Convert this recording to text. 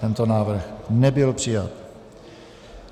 Tento návrh nebyl přijat.